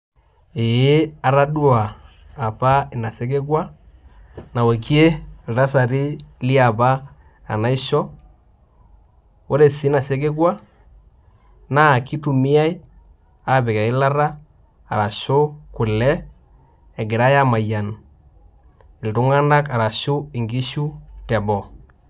Ee atadua apa inasekekua naokie ltasati leapa enaisho, ore si inasekekua na kitumiai apik eilata asu kule egirai amayian ltunganak ashu nkishu teboo.